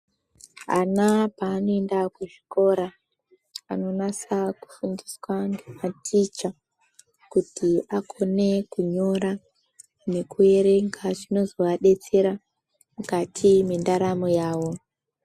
Ana paanoenda kuzvikora, anonasa kufundiswa ngematicha, kuti akone kunyora, nekuerenga, zvinozovadetsera mukati mwendaramo yawo.